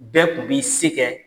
Bɛɛ tun b'i se kɛ